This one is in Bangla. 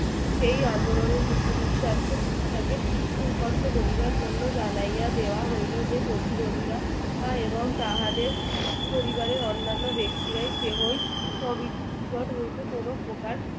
সেই আন্দোলনের নি~ নিঃস্বার্থ খুব কষ্ট করিবার জন্য জানাইয়া দেওয়া হইলো যে প্রতিরোধীরা এবং তাহাদের পরিবারের অন্যান্য ব্যক্তিরা কেহই committee এর নিকট হইতে কোনো প্রকার